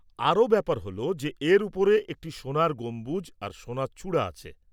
আরও ব্যাপার হল যে এর ওপরে একটি সোনার গম্বুজ আর সোনার চূড়া আছে।